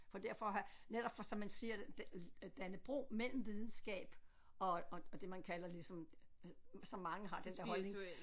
For derfor netop for som man siger det at danne bro mellem videnskab og og og det man kalder ligesom altså som mange har den der holdning